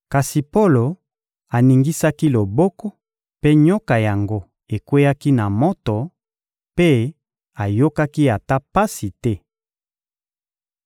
Kasi Polo aningisaki loboko, mpe nyoka yango ekweyaki na moto, mpe ayokaki ata pasi te.